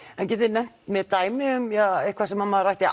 en getiði nefnt mér dæmi um eitthvað sem maður ætti